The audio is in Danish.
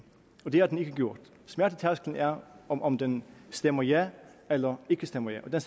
det har den ikke gjort smertetærskelen er om om den stemmer ja eller ikke stemmer ja og den